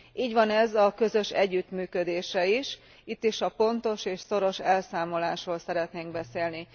Így van ez a közös együttműködéssel is, itt is a pontos és szoros elszámolásról szeretnénk beszélni.